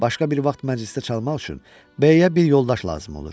Başqa bir vaxt məclisdə çalmaq üçün B-yə bir yoldaş lazım olur.